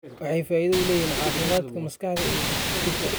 Waxay faa'iido u leeyihiin caafimaadka maskaxda iyo jidhka.